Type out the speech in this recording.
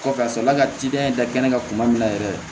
Kɔfɛ ka sɔrɔ la ka tidani da kɛnɛ kan kuma min na yɛrɛ